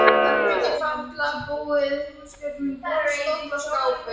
Herbergi fátæklega búið húsgögnum: borð, stóll, skápur.